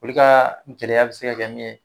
Olu ka gɛlɛya bɛ se ka kɛ min ye